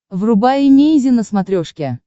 врубай эмейзин на смотрешке